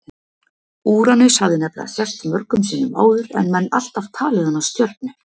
úranus hafði nefnilega sést mörgum sinnum áður en menn alltaf talið hana stjörnu